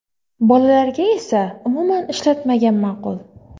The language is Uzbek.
Bolalarga esa umuman ishlatmagan ma’qul.